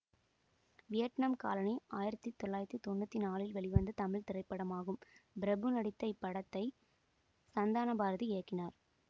Vietnam colony ஆயிரத்தி தொள்ளாயிரத்தி தொன்னூற்தி நாளில் வெளிவந்த தமிழ் திரைப்படமாகும் பிரபு நடித்த இப்படத்தை சந்தானபாரதி இயக்கினார்